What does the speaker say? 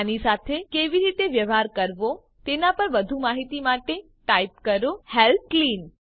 આની સાથે કેવી રીતે વ્યવહાર કરવો તેના પર વધુ માહિતી માટે ટાઈપ કરો હેલ્પ ક્લીન